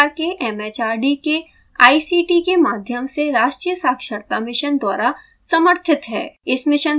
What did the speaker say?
यह भारत सरकार के it it आर डी के आई सी टी के माध्यम से राष्ट्रीय साक्षरता mission द्वारा समर्थित है